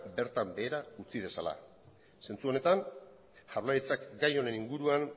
bertan behera utzi dezala zentzu honetan jaurlaritzak gai honen inguruan